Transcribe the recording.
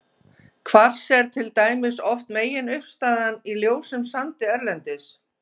Kvars er til dæmis oft meginuppistaðan í ljósum sandi erlendis.